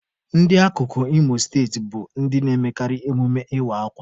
Ndị akụkụ Imo steeti bụ ndị na-emekarị emume ịwa akwa.